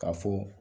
K'a fɔ